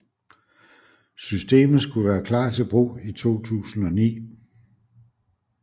Systemet skulle være klar til brug i 2009